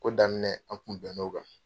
Ko daminɛ an kun bɛnn'o kan .